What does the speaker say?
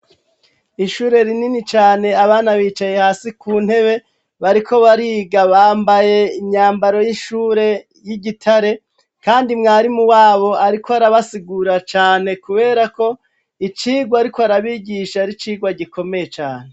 Ishure rinini cane, abana bicaye hasi ku ntebe, bariko bariga bambaye imyambaro y'ishure y'igitare, kandi mwarimu wabo arikw'arabasigura cane kubera ko, icigwa arikw' arabigisha ar'icigwa gikomeye caane.